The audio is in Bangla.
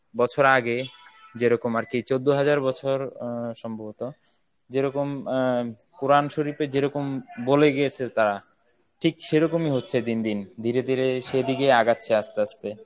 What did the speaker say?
বছর আগে যেরকম আরকি চোদ্দ হাজার বছর আহ সম্ভবত যেরকম আহ কোরআন শরীফে যেরকম বলে গিয়েছে তারা ঠিক সেরকমই হচ্ছে দিন দিন। ধীরে ধীরে সেদিগেই আগাচ্ছে আস্তে আস্তে।